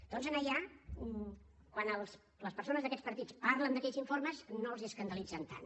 doncs allà quan les persones d’aquests partits parlen d’aquells informes no els escandalitzen tant